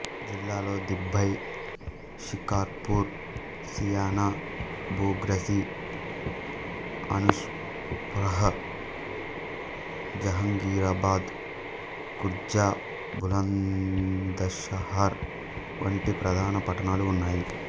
జిల్లాలో దిబై షికార్పూర్ సియన బుగ్రసి అనూప్షహ్ర్ జహంగీరాబాద్ ఖుర్జ బులంద్షహర్ వంటి ప్రధాన పట్టణాలు ఉన్నాయి